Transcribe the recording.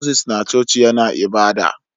Moses na coci yAna ibada